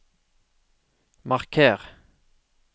marker